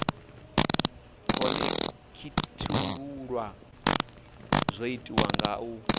khonekhithululwa zwo itiswa nga uri